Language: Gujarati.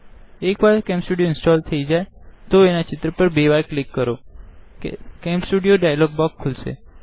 એક વાર કેમ સ્ટુડીઓ ઇન્સ્ટોલ થઇ જાય તો આઇકોન પર બે વ્કર ક્લિક કરોઆ કેમ સ્ટુડીઓ ડાઈલોગ બોક્ક્ષ ખોલશે